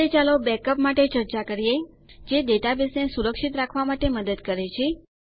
અંતે ચાલો બેકઅપ્સ માટે ચર્ચા કરીએ જે ડેટાબેઝને સુરક્ષિત રાખવાં માટે મદદ કરે છે